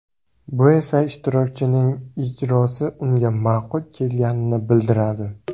Bu esa ishtirokchining ijrosi unga ma’qul kelganini bildiradi.